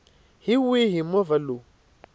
hi wihi movha lowu u